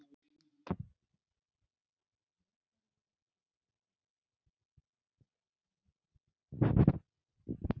Þjóðgarðurinn Snæfellsjökull er vestast á Snæfellsnesi, í Snæfellsbæ.